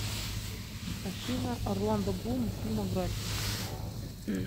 афина орландо блум фильмография